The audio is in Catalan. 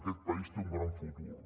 aquest país té un gran futur